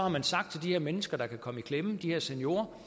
man sagt til de mennesker der kan komme i klemme de her seniorer